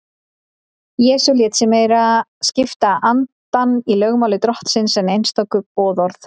Jesús lét sig meira skipta andann í lögmáli Drottins en einstök boðorð.